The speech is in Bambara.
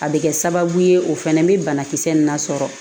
A bɛ kɛ sababu ye o fana bɛ banakisɛ nin na sɔrɔ